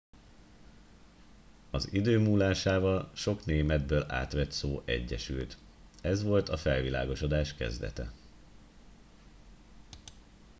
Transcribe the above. az idő múlásával sok németből átvett szó egyesült ez volt a felvilágosodás kezdete